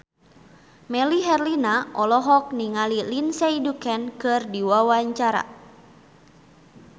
Melly Herlina olohok ningali Lindsay Ducan keur diwawancara